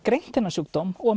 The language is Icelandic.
greint þennan sjúkdóm og